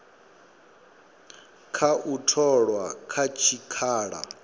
kha u tholwa kha tshikhala